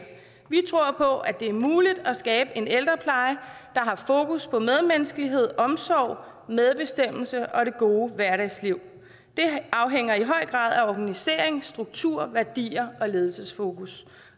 vi tror på at det er muligt at skabe en ældrepleje der har fokus på medmenneskelighed omsorg medbestemmelse og det gode hverdagsliv det afhænger i høj grad af organisering struktur værdier og ledelsesfokus